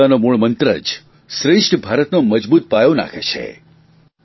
એકતાનો મૂળમંત્ર જ શ્રેષ્ઠ ભારતનો મજબૂત પાયો નાંખે છે